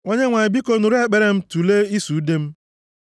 Onyenwe anyị, biko, nụrụ ekpere m tulee ịsụ ude m.